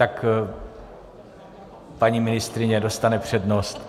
Tak paní ministryně dostane přednost.